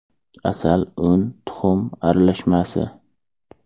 Asal, un, tuxum aralashmasi.